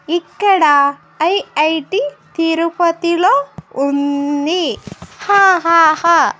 ఇక్కడ ఐ_ఐ_టి తిరుపతిలో ఉంది హ హ హ --